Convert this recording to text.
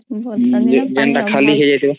ବର୍ଷାଦିନେ ସବୁ